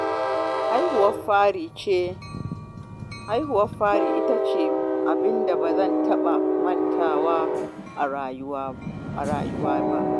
Haihuwar fari ita ce abin da ba zan taɓa mantawa ba a rayuwa